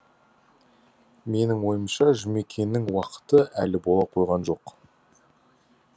менің ойымша жұмекеннің уақыты әлі бола қойған жоқ